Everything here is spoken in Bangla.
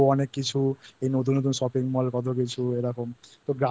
লাগবে কারণ অনেক আলো অনেক কিছু এই নতুন নতুন Shopping Mall